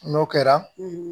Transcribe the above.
N'o kɛra